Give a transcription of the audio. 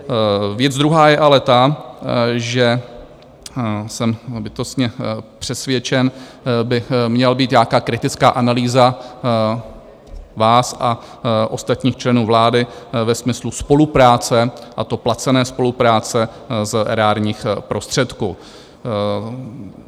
Věc druhá je ale ta, že jsem bytostně přesvědčen, by měla být nějaká kritická analýza vás a ostatních členů vlády ve smyslu spolupráce, a to placené spolupráce z erárních prostředků.